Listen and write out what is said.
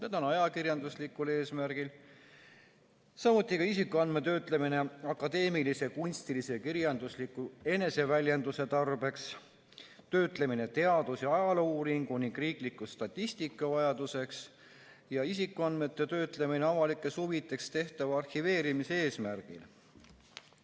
Need on: ajakirjanduslikul eesmärgil, samuti ka isikuandmete töötlemine akadeemilise, kunstilise, kirjandusliku eneseväljenduse tarbeks, töötlemine teadus- ja ajaloouuringu ning riikliku statistika vajaduseks ja isikuandmete töötlemine avalikes huvides tehtava arhiveerimise eesmärgil.